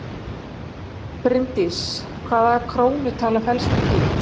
Bryndís: Hvaða krónutala felst í því?